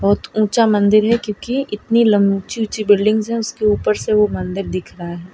बहुत ऊंचा मंदिर है क्योंकि इतनी लम ऊंची ऊंची बिल्डिंग्स है उसके ऊपर से वो मंदिर दिख रहा है।